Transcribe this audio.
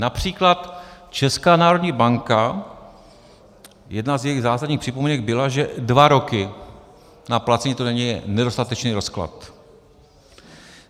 Například Česká národní banka, jedna z jejích zásadních připomínek byla, že dva roky na placení, to není nedostatečný rozklad.